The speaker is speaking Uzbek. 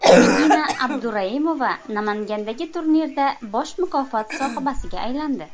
Nigina Abduraimova Namangandagi turnirda bosh mukofot sohibasiga aylandi.